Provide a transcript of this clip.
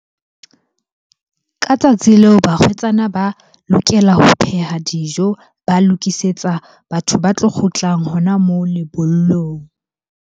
Ka tsatsi leo barwetsana ba lokela ho pheha dijo, ba lokisetsa batho ba tlo kgutlang hona moo lebollong.